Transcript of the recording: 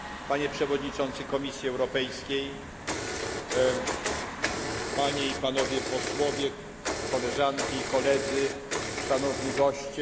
panie przewodniczący Komisji Europejskiej, panie i panowie posłowie, koleżanki i loledzy, szanowni goście!